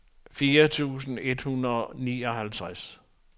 fire tusind et hundrede og nioghalvtreds